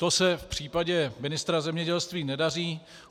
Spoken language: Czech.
To se v případě ministra zemědělství nedaří.